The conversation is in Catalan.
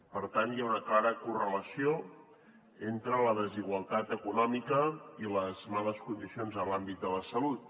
per tant hi ha una clara correlació entre la desigualtat econòmica i les males condicions en l’àmbit de la salut